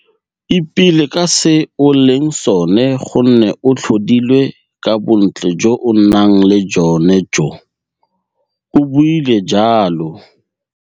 Ipele ka se o leng sone gonne o tlhodilwe ka bontle jo o nang le jone joo, o buile jalo.